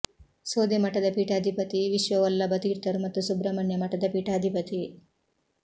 ಸೋದೆ ಮಠದ ಪೀಠಾಧಿಪತಿ ವಿಶ್ವವಲ್ಲಭ ತೀರ್ಥರು ಮತ್ತು ಸುಬ್ರಹ್ಮಣ್ಯ ಮಠದ ಪೀಠಾಧಿಪತಿ